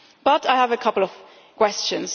So I do have a couple of questions.